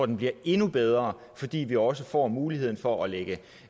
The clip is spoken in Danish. den bliver endnu bedre fordi vi også får muligheden for at